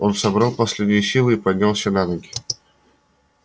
он собрал последние силы и поднялся на ноги